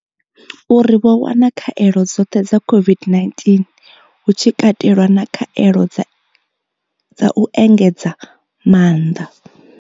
Uri vho wana khaelo dzoṱhe dza COVID-19 hu tshi katelwa na khaelo dza u engedza maanḓa.